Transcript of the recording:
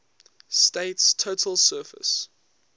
state's total surface